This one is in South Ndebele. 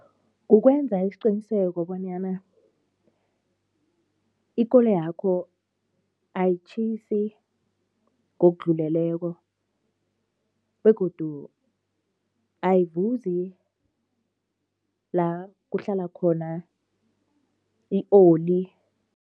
Kukwenza isiqiniseko bonyana ikoloyakho ayitjhisi ngokudluleleko begodu ayivuzi la kuhlala khona i-oli.